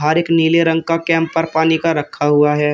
हर एक नीले रंग का कैम्पर पानी का रखा हुआ है।